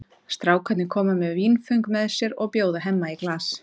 Strákarnir koma með vínföng með sér og bjóða Hemma í glas.